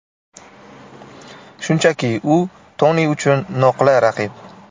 Shunchaki u Toni uchun noqulay raqib.